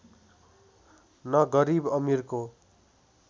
न गरिब अमिरको